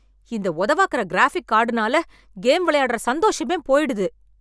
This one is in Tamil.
இந்த உதவாக்கர க்ராஃபிக் கார்டுனால கேம் விளையாடுற சந்தோஷமே போயிடுது.